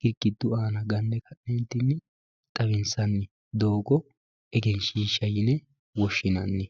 girgidu aana ganne xawinsanni doogo egenshiishsha yine woshshinanni.